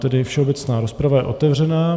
Tedy všeobecná rozprava je otevřená.